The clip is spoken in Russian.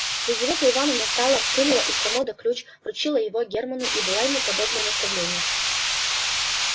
лизавета ивановна встала вынула из комода ключ вручила его германну и дала ему подобное наставление